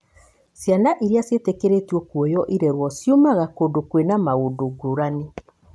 Ciana iria ciĩtĩkĩrĩtio kuoyo irerwo ciumaga kũndũ kwĩna maũndũ ngũrani.